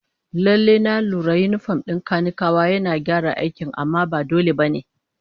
Lallai, na lura yinifom din kanikawa yana gyara aikin amma ba dole ba ne